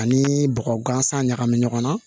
Ani bɔgɔ gansan ɲagami ɲɔgɔn na